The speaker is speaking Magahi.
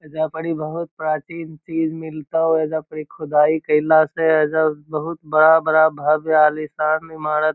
एजा पर इ बहुत प्राचीन चीज मिलतो एजा पर इ खुदाई केएला से एजा बहुत बड़ा-बड़ा भव्य आलीशान इमारत --